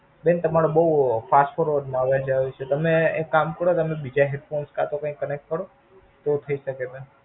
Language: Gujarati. બેન તમારો બોવ Fast માં અવાજ આવે છે. તમે એક કામ કરો તમે બીજે Hostpot કે તો કાય connector કરો. તો થઈ શકે બેન.